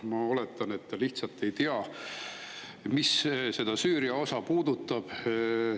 Ma oletan, et ta lihtsalt ei tea, mis seda Süüria osa puudutab.